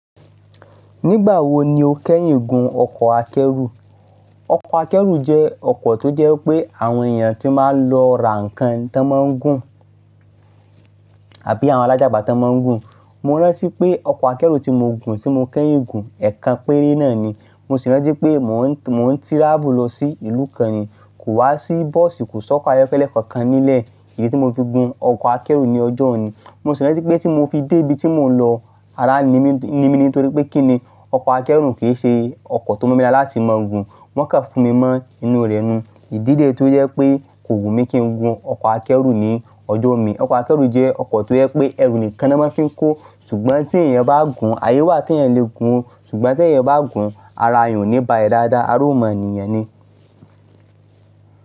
Nígbà wo ni o kẹ́yìn gun ọkọ̀ akẹ́rù? Ọkọ̀ akẹ́rù jẹ́ ọkọ̀ tó wijẹ́ pé àwọn èèyàn tí máa lọ ra nǹkan tán máa ń gùn, àbí àwọn alájagbà tá n máa ń gùn. Mo rántí pé ọkọ̀ akẹ́rù tí mo gùn tí mo kẹ́yìn gùn, ẹ̀ẹ̀kan péré náà ni. Mo sì rántí pé mò ń, mò ń tíráàfù lọ sí ìlú kan ni, kò wá sí bọ́ọ̀sì, kò sọ́kọ́ ayọ́kẹ́lẹ́ kankan nílẹ̀, idí tí mo fi gun ọkọ̀ akẹ́rù ní ọjọ́ wun ni Mo sì rántí pé tí mo fi dé ibi tí mò ń lọ, ara n ni mí, ni mí ni nítorí pé kíni, ọkọ̀ akẹ́rù kì í ṣe ọkọ̀ tó mọ́ nira láti máa gun. Wọ́n kàn fún mi mọ́ inú rẹ̀ ni. Ìdí re tó jẹ́ wipé kò wù mí kí n gun ọkọ̀ akẹ́rù ní ọjọ́ mi. Ọkọ̀ akẹ́rù jẹ́ ọkọ̀ tó jẹ́ pé ẹrù nìkan ni wọ́n maa fi ń kó. Ṣùgbọ́n tí ẹ̀yàn bá gùn, ayé wà tí ẹ̀yàn le gùn. Ṣùgbọ́n tí ẹ̀yàn bá gùn, ara èèyàn ò ní balẹ dáadáa, ara ó mọ niyàn ni.